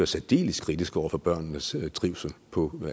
særdeles kritiske over for børnenes trivsel på